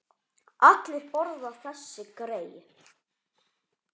Allir borða þessi grey.